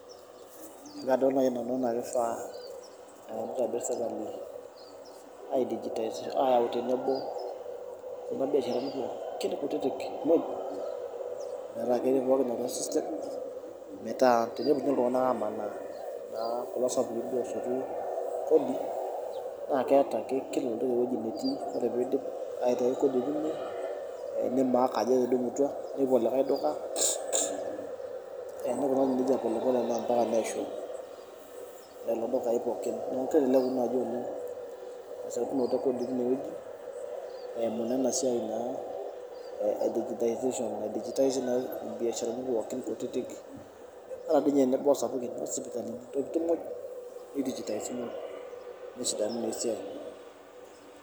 Kadol naai nanu enaa kifaa uh nitadou sirkali ae digitize ayau tenebo kuna biasharani pookin kutitik muj metaa ketii pookin atua system metaa tenepuo ninye iltung'anak amanaa naa kulo sapukin duo osotu kodi naa keeta ake kila oltaa ewuei netii ore peidip aitai kodi tine eh ni mark ajo etudumutua nepuo olikae duka eh nikunari nejia polepole naa ompaka neishunye lelo dukai pookin neeku keleleku naaji oleng esotunoto e kodi tinewueji eimu naa ena siai naa e digitization naedijitaizi naake irbiasharani pookin kutitik ata diinye enebo osapukin intokiting muj ni dijitaisi muj nesidanu naa esiai.